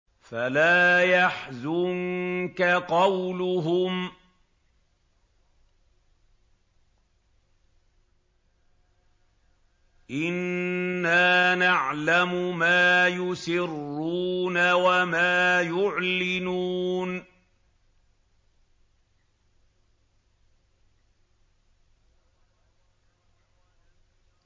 فَلَا يَحْزُنكَ قَوْلُهُمْ ۘ إِنَّا نَعْلَمُ مَا يُسِرُّونَ وَمَا يُعْلِنُونَ